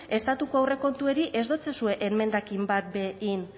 estatuko aurrekontuari ez dotsazue enmendakin bat be egin